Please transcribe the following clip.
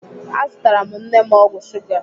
Azụtara m nne m ọgwụ shuga.